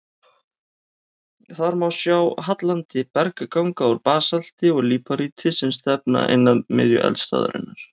Þar má sjá hallandi bergganga úr basalti og líparíti sem stefna inn að miðju eldstöðvarinnar.